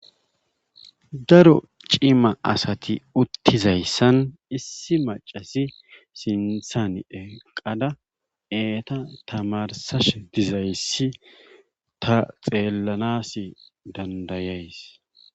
Daro cima asati uttizayssan issi maccasi sinthan eqqada eeta tamarssashe dizayssi ta xeellanaassi danddayays.